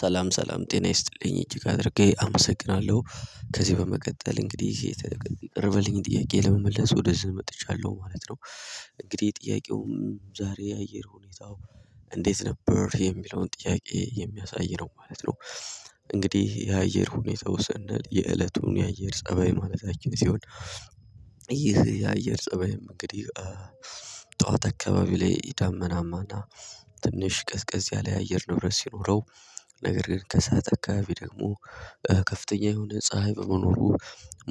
ሰላም ሰላም ጤና ይስጥልኝ እጅግ አድርጌ አመሰግናለሁ ከዚህ በመቀጠል እንግዲህ የቀረበልኝን ጥያቄ ለመመለስ ወደ እዚህ መጥቻለሁ ማለት ነው። እንግዲህ ጥያቄውም ዛሬ የአየር ሁኔታው እንዴት ነበር የሚለውን ጥያቄ የሚያሳይ ነው ማለት ነው። እንግዲህ የአየር ሁኔታው ሰንል የእለቱን የአየር ፀባይ ማለታችን ሲሆን። ይህ የአየር ፀባይም እንግዲህ ጠዋት አካባቢ ላይ ዳመናማ እና ትንሽ ቅዝቀዝ ያለ የአየር ንብረት ሲኖረው ነገር ግን ከሰአት አካባቢ ደግሞ ከፍተኛ የሆነ ፀሀይ በመኖሩ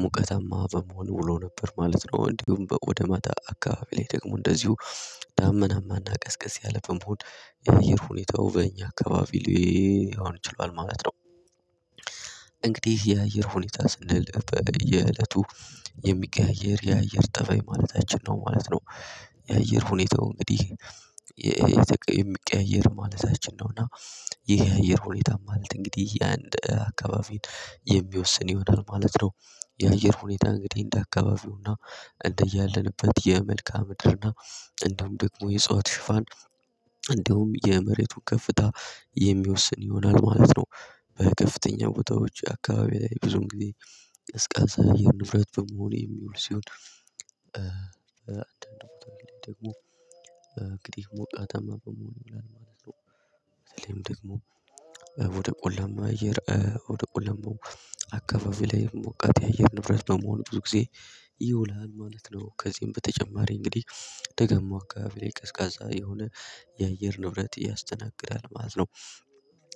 ሙቀታማ በመሆን ውሎ ነበር ማለት ነው። እንዲሁም በወደማታ አካባቢ ላይ ደግሞ እንደዚሁ ዳመናማና ቀዝቀዝ ያለ በመሆን የአየር ሁኔታው በእኛ አካባቢ ላይ ሊሆን ችሏል ማለት ነው። እንግዲህ የአየር ሁኔታ ስንል በየእለቱ የሚቀያየር የአየር ጠባይ ማለታችን ነው ማለት ነው። የአየር ሁኔታው እንግዲህ የሚቀያየር ማለታችን ነው እና ይሄ የአየር ሁኔታ ማለት እንግዲህ የአንድ አካባቢን የሚወስን ይሆናል ማለት ነው። የአየር ሁኔታ እንግዲህ እንደ አካባቢውና እንደ እንደያለንበት የመልካ ምድርና እንደውም ደግሞ የእጽዋት ሽፋን እንዲውም የመሬቱ ከፍታ የሚወስን ይሆናል ማለት ነው። በከፍተኛ ቦታዎች አካባቢ ላይ ብዙም ጊዜ ቀዝቃዛ የአየር ንብረት በመሆን የሚውል ሲሆን። አንድ ቦታ ደግሞ እንግዲህ ሙቃታማ በመሆን ይላል ማለት ነው። በተለይም ደግሞ ወደ ቆላማ እየር ወደ ቆላማ አካባቢ ላይ ሞቃት የአየር ንብረት ነው መሆን ብዙ ጊዜ ይውላል ማለት ነው። ከዚህም በተጨማሪ እንግዲህ ደጋማው አካባቢ ላይ ቀዝቃዛ የሆነ የአየር ንብረት ያስተናግዳል ማለት ነው።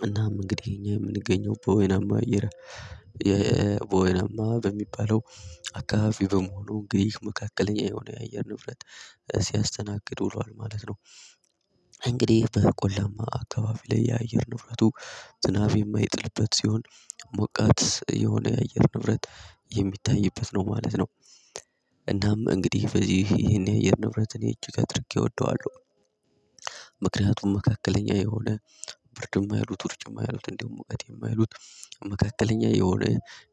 እናም እንግዲህ እኛ የምንገኘው በወይናማ አየር የወይናማ በሚባለው አካባቢ በመሆኑ እንግዲህ መካከለኛ የሆነ የአየር ንብረት ሲያስተናግዱ ውሏል ማለት ነው። እንግዲህ በቆላማ አካባቢ ላይ የአየር ንብረቱ ዝናብ የማይጥልበት ሲሆን ሞቃት የሆነ የአየር ንብረት የሚታይበት ነው ማለት ነው። እናም እንግዲህ በዚህ ይሄን የአየር ንብረት እኔ እጅግ አድርጌ እወደዋለሁ ምክንያቱም መካከለኛ የሆነ ብርድ የማይሉት ውርጭም የማያሉት እንደውም ሙውቀት የማይሉት መካከለኛ የሆነ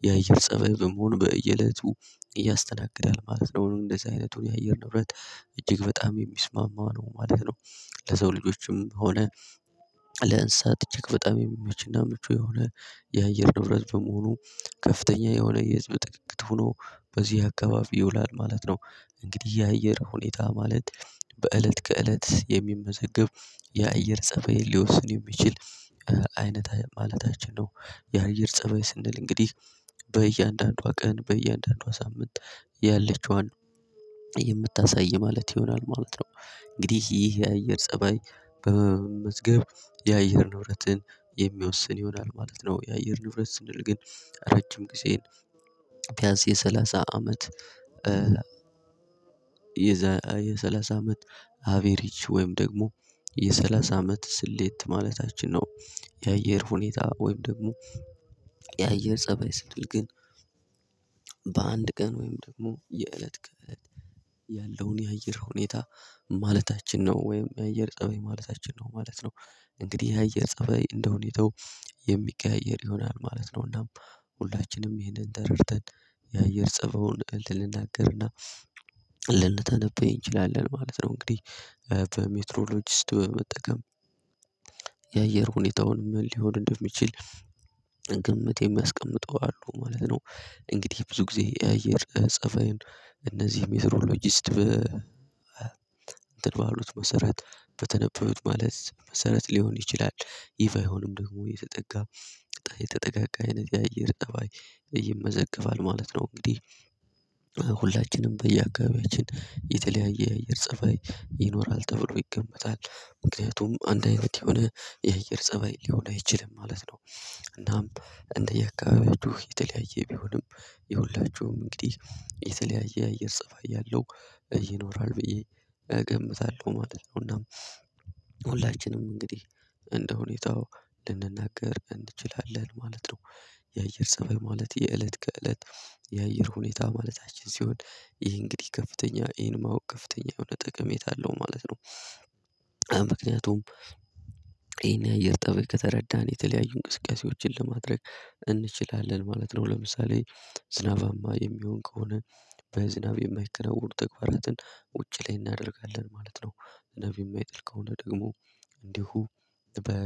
የአየር ፀባይ መሆኑ በየእለቱ ያስተናግዳል ማለት ነው። እንደዚህ አይነቱ የአየር ንብረት እጅግ በጣም የሚስማማው ነው ማለት ነው። ለሰው ልጆችም ሆነ ለእንስሳት እጅግ በጣም የሚመችና ምቹ የሆነ የአየር ንብረት በመሆኑ ከፍተኛ የሆነ የህዝብ ጥቂት ሆኖ በዚህ አካባቢ ይውላል ማለት ነው። እንግዲህ የአየር ሁኔታ ማለት በእለት ከእለት የሚመዘገብ የአየር ጸባይን ሊወስን የሚችል አይነት ማለታችን ነው። የአየር ፀበይ ስንል እንግዲህ በእያንዳንዷ ቀን በእያንዳንዷ ሳምንት ያለችዋን የምታሳይ ማለት ይሆናል ማለት ነው። እንግዲህ ይህ የአየር ፀባይ በመመዝገብ የአየር ንብረትን የሚወስን ይሆናል ማለት ነው። የአየር ንብረት ስንል ግን ረጅም ጊዜን ቢያንስ የሰላሳ አመት የዘ የሰላሳ አመት አቬሪጅ ወይም ደግሞ የሰላሳ አመት ስሌት ማለታችን ነው። የአየር ሁኔታ ወይም ደግሞ የአየር ፀባይ ስትል ግን በአንድ ቀን ወይም ደግሞ የእለት ቀን ያለውን የአየር ሁኔታ ማለታችን ነው ወይም የአየር ፀባይ ማለታችን ነው ማለት ነው። እንግዲህ ያየር ፀበይ እንደሁኔታው የሚቀያየር ይሆናል ማለት ነውና ሁላችንም ይህንን ተረድተን የአየር ፀባዩን ልንናገር እና ልንተነበይ እንችላለን ማለት ነው። እንግዲህ በሜትሮሎጂስት በመጠቀም የአየር ሁኔታውን ምን ሊሆን እንደሚችል ግምት የሚያስቀምጠው አሉ ማለት ነው። እንግዲህ ብዙ ጊዜ የአየር ጸባይን እነዚህ ሜትሮሎጂስት በ እንትን ባሉት መሰረት በተነበዩት ማለት መሰረት ሊሆን ይችላል ይህ ባይሆንም ደግሞ የተጠጋ የተጠጋጋ አይነት የአየር እባይ ይመዘገባል ማለት ነው። እንግዲህ ሁላችንም በየአካባቢያችን የተለያየ የአየር ፀባይ ይኖራል ተብሎ ይገመታል ምክንያቱም አንድ አይነት የሆነ የአየር ፀባይ ሊሆን አይችልም ማለት ነው። እናም እንደየአካባቢው የተለያየ ቢሆንም የሁላችሁም እንግዲህ የተለያየ አየር ፀባይ ያለው ይኖራል ብዬ እገምታለሁ ማለት ነው። እና ሁላችንም እንግዲህ እንደሁኔታው ልንናገር እንችላለን ማለት ነው። የአየር ፀብይ ማለት የእለት ከእለት የአየር ሁኔታ ማለታችን ሲሆን ይሄ እንግዲህ ከፍተኛ ይሄን ማወቅ ከፍተኛ የሆነ ጥቅሜት አለው ማለት ነው። ምክንያቱም ይሄን የአየር ጠባይ ከተረዳን የተለያዩ እንቅስቃሴዎችን ለማድረግ እንችላለን ማለት ነው። ለምሳሌ ዝናባማ የሚሆን ከሆነ በዝናብ የማይከናወን ተግባራትን ውጪ ላይ እናደርጋለን ማለት ነው። ዝናብ የማይጥል ከሆነ ደግሞ እንዲሁ በ